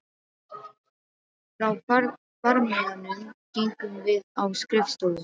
Frá farmiðanum gengum við á skrifstofu